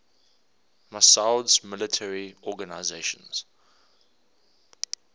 massoud's military organization